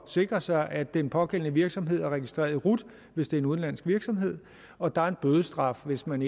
sikre sig at den pågældende virksomhed er registreret i rut hvis det er en udenlandsk virksomhed og der er en bødestraf hvis man